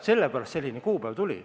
Sellepärast selline kuupäev tuli.